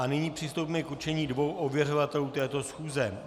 A nyní přistoupíme k určení dvou ověřovatelů této schůze.